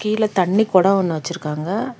கீழ தண்ணி குடோ ஒன்னு வச்சுருக்காங்க.